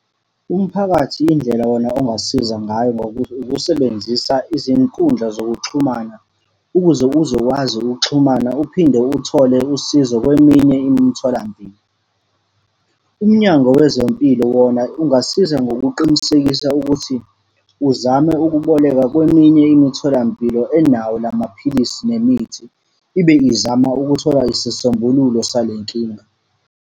Umphakathi indlela wona ongasiza ngayo ukusebenzisa izinkundla zokuxhumana, ukuze uzokwazi ukuxhumana uphinde uthole usizo kweminye imitholampilo. UMnyango Wezempilo wona ungasiza ngokuqinisekisa ukuthi uzame ukuboleka kweminye imitholampilo enawo la maphilisi nemithi, ibe izama ukuthola isisombululo sale nkinga.